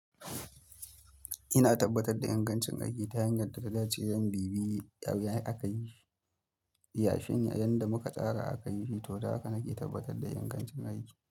Ina tabbatar da ingancin aiki ta hanyar da ta dace yan bibiyi ɗawai aka yi shi. Yashi yadda muka tsara aka yi shi, to haka nake tabbatar da ingancin aiki.